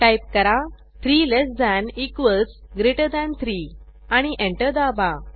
type करा 3 less than equals greater than 3 आणि enter दाबा